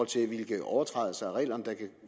til hvilke overtrædelser af reglerne der kan